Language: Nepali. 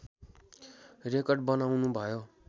रेकर्ड बनाउनु भयो